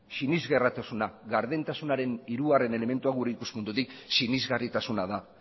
sinesgarritasuna gardentasunaren hirugarren elementua gure ikuspuntutik sinesgarritasuna da